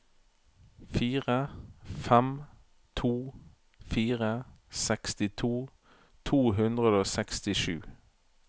fire fem to fire sekstito to hundre og sekstisju